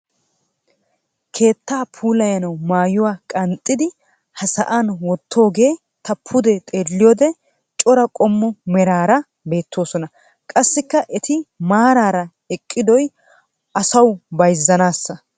keettaa puulayanawu maayuwa qanxxidi ha sa'an wottidogee ta pude xeeliyode cora qommo meraara beettoosona. qassikka eti maarara eqqidoy asawu bayzzanaasa.